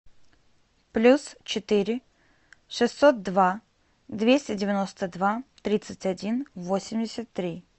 плюс четыре шестьсот два двести девяносто два тридцать один восемьдесят три